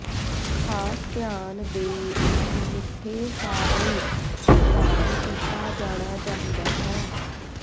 ਖਾਸ ਧਿਆਨ ਦੇ ਇੱਕ ਮਿੱਠੇ ਸਾਰਣੀ ਭੁਗਤਾਨ ਕੀਤਾ ਜਾਣਾ ਚਾਹੀਦਾ ਹੈ